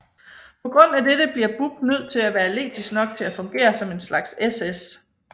På grund af dette bliver Buck nød til at være atletisk nok til at fungere som en slags SS